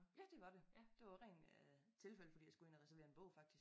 Ja det var det det var rent øh tilfælde fordi jeg skulle ind og reservere en bog faktisk